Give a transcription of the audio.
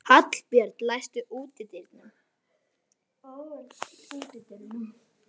Hallbjörg, læstu útidyrunum.